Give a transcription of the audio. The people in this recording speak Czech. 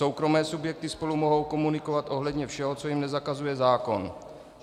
Soukromé subjekty spolu mohou komunikovat ohledně všeho, co jim nezakazuje zákon.